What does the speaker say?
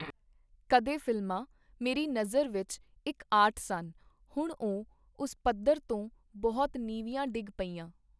ਕਦੇ ਫ਼ਿਲਮਾਂ ਮੇਰੀ ਨਜ਼ਰ ਵਿਚ ਇਕ ਆਰਟ ਸਨ, ਹੁਣ ਉਹ ਉਸ ਪੱਧਰ ਤੋਂ ਬਹੁਤ ਨੀਵੀਂਆਂ ਡਿੱਗ ਪਈਆਂ.